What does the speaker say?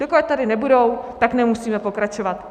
Dokud tady nebudou, tak nemusíme pokračovat.